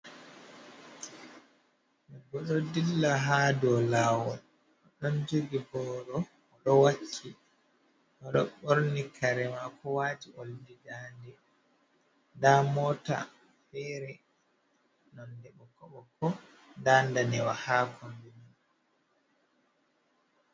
Odo dilla ha dow lawol, o ɗon jogi boro, oɗo wakki, oɗo ɓorni karemako wati oldi dande, nda mota fere nonde bokko bokko, nda danewa ha kombi mai.